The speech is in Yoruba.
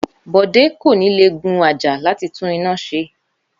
Bòdé kò ní lé gun àjà láti tún iná se